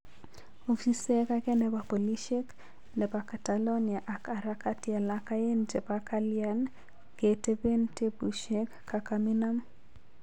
Ofisek age nepo polishek nepo catalonia ak harakati alak aegn chepo kalian ketepen tepushek kakaminam